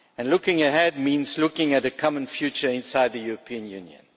Looking ahead means looking at a common future inside the European Union.